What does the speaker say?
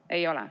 Ei ole.